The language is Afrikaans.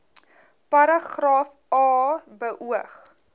paragraaf a beoog